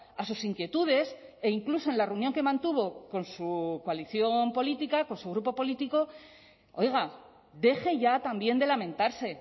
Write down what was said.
a sus inquietudes e incluso en la reunión que mantuvo con su coalición política por su grupo político oiga deje ya también de lamentarse